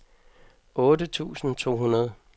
otte tusind to hundrede